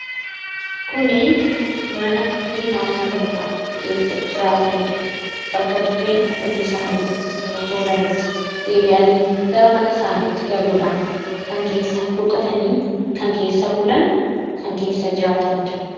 Kunii, mana ilmaan namootaa keessa jiraatanidha. Bakka dirree hojii isaanii yeroo oolanitti deebi'anii gara mana isaanitti galuudhaan kan keessa boqotanii fi kan keessa bulan ,kan keessa jiraatanidha.